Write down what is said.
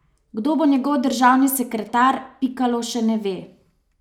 Kdo bo njegov državni sekretar, Pikalo še ne ve.